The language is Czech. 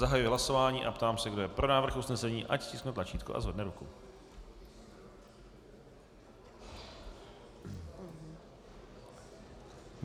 Zahajuji hlasování a ptám se, kdo je pro návrh usnesení, ať stiskne tlačítko a zvedne ruku.